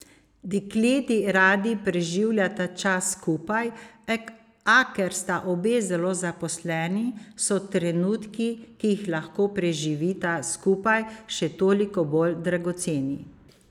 Dekleti radi preživljata čas skupaj, a ker sta obe zelo zaposleni, so trenutki, ki jih lahko preživita skupaj še toliko bolj dragoceni.